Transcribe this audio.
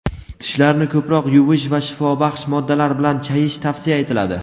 tishlarni ko‘proq yuvish va shifobaxsh moddalar bilan chayish tavsiya etiladi.